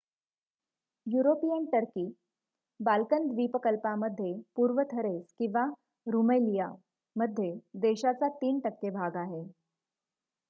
European Turkey Balkan द्वीप कल्पामध्ये पूर्व थरेस किंवा रूमएलिया मध्ये देशाचा 3% भाग आहे